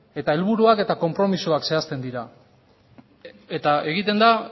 eta helburuak eta konpromisoak zehazten dira eta egiten da